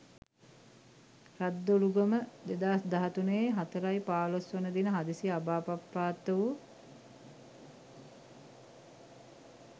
රද්දොළුගම 2013.04.15 දින හදිසියේ අභාවප්‍රාප්ත වූ